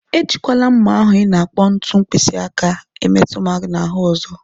Ejikwala mma ahụ ị na-akpọ ntu mkpịsị aka metu m na ahụ ọzọ.